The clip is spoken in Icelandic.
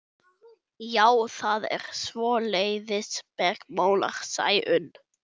Já, það er svoleiðis, bergmálar Sæunn.